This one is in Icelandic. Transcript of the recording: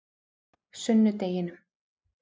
sunnudeginum